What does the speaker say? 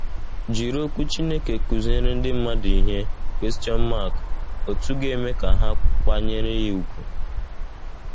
Jiri Okwu Chineke kụziere ndị mmadụ ihe otú ga - eme ka ha kwanyere ya ùgwù.